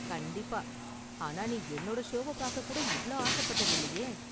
கண்டிப்பா, ஆனா நீ என்னோட ஷோவ பார்க்க கூட இவ்ளோ ஆசப்பட்டது இல்லயே